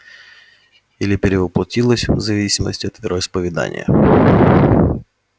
или перевоплотилась в зависимости от вероисповедания